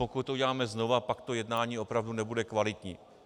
Pokud to uděláme znova, pak to jednání opravdu nebude kvalitní.